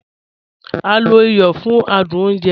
A lo ìyọ̀ fún àdùn ọ̀nje wà.